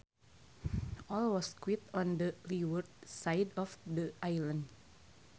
All was quiet on the leeward side of the island